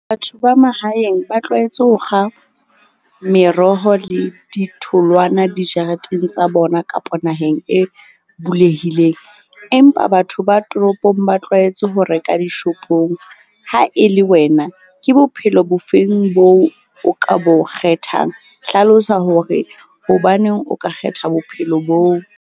Batho ba mahaeng ba tlwaetse ho kga meroho le ditholwana dijareteng tsa bona kapo naheng e bulehileng. Empa batho ba toropong ba tlwaetse ho reka di-shop-ong. Ha e le wena, ke bophelo bo feng bo o ka bo kgethang? Hlalosa hore hobaneng o ka kgetha bophelo boo.